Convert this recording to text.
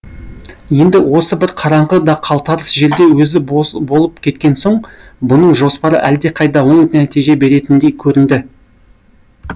енді осы бір қараңғы да қалтарыс жерде өзі болып кеткен соң бұның жоспары әлдеқайда оң нәтиже беретіндей көрінді